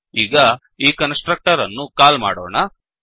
ಈಗ ಈ constructor ಅನ್ನು ಕಾಲ್ ಮಾಡೋಣ